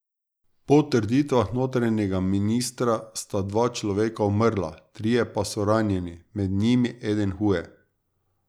Po trditvah notranjega ministra sta dva človeka umrla, trije pa so ranjeni, med njimi eden huje.